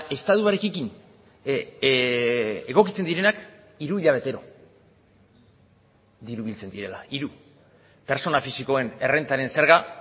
estatuarekin egokitzen direnak hiru hilabetero diru biltzen direla hiru pertsona fisikoen errentaren zerga